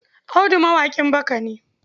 Audu mawaƙin baka ne.